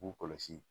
K'u kɔlɔsi